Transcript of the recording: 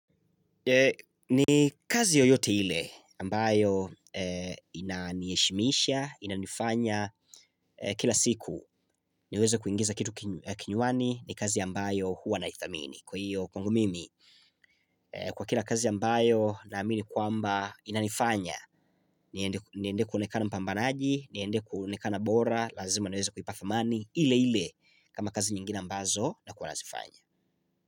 Ni kazi yoyote ile ambayo ina niheshimisha inanifanya kila siku niweze kuingiza kitu kinywani ni kazi ambayo huwa naithamini kwahiyo kwangu mimi kwa kila kazi ambayo naamini kwamba inanifanya niende kuonekana mpambanaji niende kuonekana bora lazima niweze kuipathamani ile ile kama kazi nyingine ambazo nakuwa nazifanya.